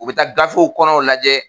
U bɛ taa gafew kɔnɔw lajɛ